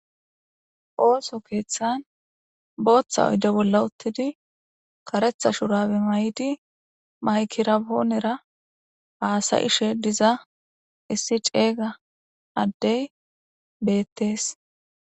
Ooso keeththan booththa oyde bolla uttidi karetha shurabe maykirapoonera haasayishe diza issi ceeyga addey beettees.